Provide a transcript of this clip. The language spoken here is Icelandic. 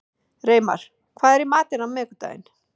Reimar, hvað er í matinn á miðvikudaginn?